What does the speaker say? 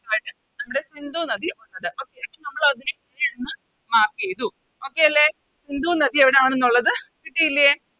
നമ്മുടെ സിന്ധു നദി വന്നത് Okay അപ്പൊ നമ്മളതിനെ അങ് Mark ചെയ്തു Okay അല്ലെ സിന്ധു നദി എവിടാണെന്നുള്ളത് കിട്ടിയില്ലേ